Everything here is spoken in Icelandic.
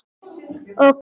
Og Kana?